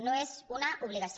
no és una obligació